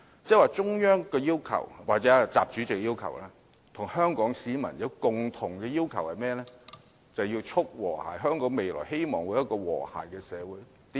換言之，中央或習主席和香港市民均有一共同要求，就是促和諧，希望香港未來會有和諧的社會。